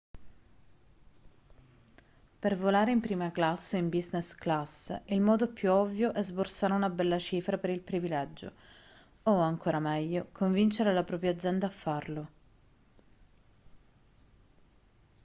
per volare in prima classe o in business class il modo più ovvio è sborsare una bella cifra per il privilegio o ancora meglio convincere la propria azienda a farlo